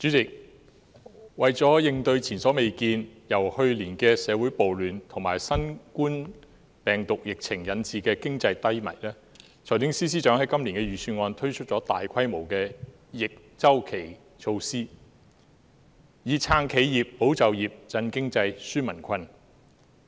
主席，為了應對前所未見、由去年的社會暴亂及新冠病毒疫情引致的經濟低迷，財政司司長在今年的財政預算案推出了大規模的逆周期措施，以"撐企業、保就業、振經濟、紓民困"。